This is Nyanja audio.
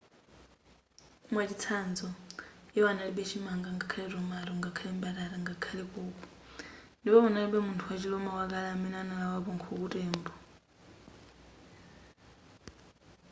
mwachitsanzo iwo analibe chimanga ngakhale tomato ngakhale mbatata ngakhale koko ndipo panalibe munthu wachi roma wakale amene walawapo nkhuku tembo